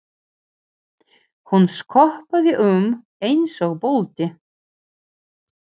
Hún skoppaði um eins og bolti.